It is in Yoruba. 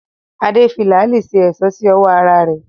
Adé fi làálí ṣe èṣó sí ọwọ́ ara rẹ̀